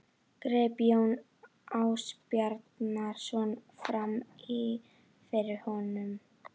greip Jón Ásbjarnarson fram í fyrir honum.